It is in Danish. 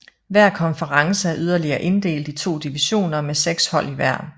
Hver konference er yderligere inddelt i to divisioner med seks hold i hver